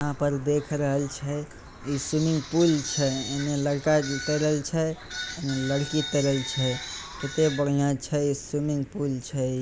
यहां पर देख रहल छै ई स्विमिंग पूल छै एमे लड़का के तैरे ले छै एमे लड़की तैरे ले छै कते बढ़िया छै स्विमिंग पूल छै।